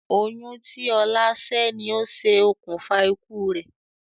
Oyún tí ọlá sẹ́ ni ó ṣe okùnfà ikú rẹ̀